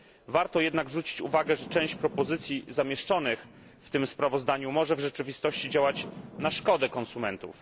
Warto jednak zwrócić uwagę, że część propozycji zamieszczonych w tym sprawozdaniu może w rzeczywistości działać na szkodę konsumentów.